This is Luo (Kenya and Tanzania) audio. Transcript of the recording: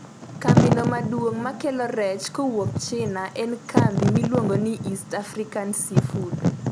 kambi no maduong makelo rech kowuok china en kambi miluongo ni East African Sea food